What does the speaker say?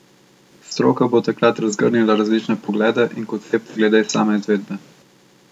Stroka bo takrat razgrnila različne poglede in koncepte glede same izvedbe.